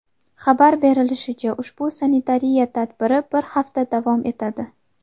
Xabar berilishicha, ushbu sanitariya tadbiri bir hafta davom etadi.